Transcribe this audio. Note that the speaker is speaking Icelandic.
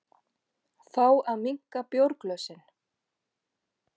Fá að minnka bjórglösin